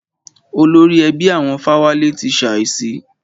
Olórí ẹbí àwọn Fáwálé ti ṣàísí.